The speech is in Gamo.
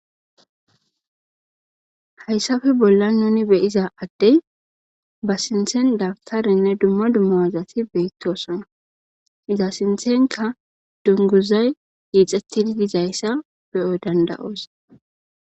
Hayssafe bolla nuni beyiza adde ba sinthen dabtarenne dumma dummoazati beettosona iza sinthenka dunguzay iixettidi dizayssa beyo danda7oos.